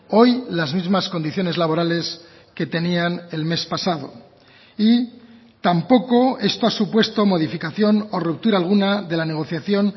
hoy las mismas condiciones laborales que tenían el mes pasado y tampoco esto ha supuesto modificación o ruptura alguna de la negociación